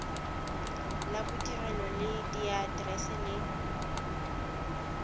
la bodirelo le diaterese le